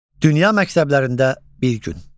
Dünya məktəblərində bir gün.